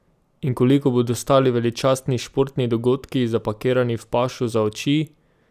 In koliko bodo stali veličastni športni dogodki, zapakirani v pašo za oči?